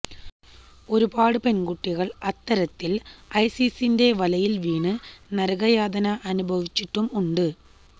ഒരുപാട് പെണ്കുട്ടികള് അത്തരത്തില് ഐസിസിന്റെ വലയില് വീണ് നരകയാതന അനുഭവിച്ചിട്ടും ഉണ്ട്